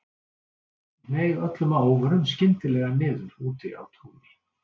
Hneig öllum að óvörum skyndilega niður úti á túni.